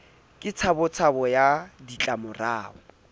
ke tshabo tshabo ya ditlamorao